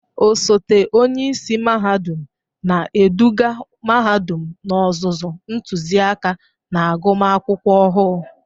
Osote onye isi mahadum na-eduga mahadum n'ozuzu ntụziaka na agụmakwụkwọ ọhụụ.